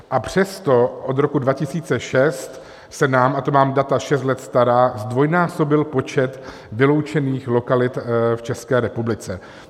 A přesto od roku 2006 se nám, a to mám data šest let stará, zdvojnásobil počet vyloučených lokalit v České republice.